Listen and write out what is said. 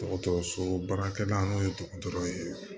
Dɔgɔtɔrɔso baarakɛla n'o ye dɔgɔtɔrɔ ye